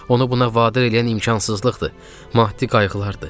Onu buna vadar eləyən imkansızlıqdır, maddi qayğılardır.